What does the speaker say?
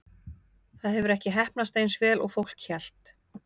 Það hefur ekki heppnast eins vel og fólk hélt.